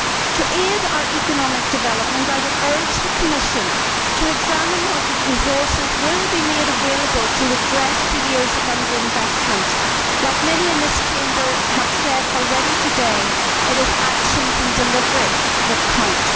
To aid our economic development I would urge the Commission to examine what resources will be made available to redress the years of underinvestment. As many in this Chamber have said already today, it is actions and delivery that count.